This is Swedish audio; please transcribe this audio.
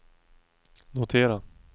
notera